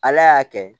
Ala y'a kɛ